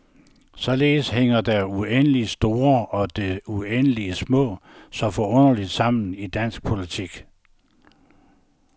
Således hænger det uendeligt store og det uendeligt små så forunderligt sammen i dansk politik.